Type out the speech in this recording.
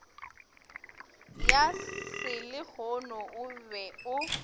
ya selehono o be o